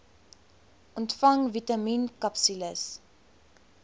ontvang vitamien akapsules